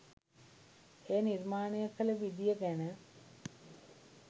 එය නිර්මාණය කළ විදිය ගැන